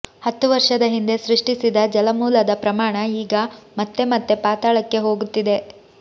ಹತ್ತು ವರ್ಷದ ಹಿಂದೆ ಸೃಷ್ಟಿಸಿದ ಜಲಮೂಲದ ಪ್ರಮಾಣ ಈಗ ಮತ್ತೆ ಮತ್ತೆ ಪಾತಾಳಕ್ಕೆ ಹೋಗುತ್ತಿದೆ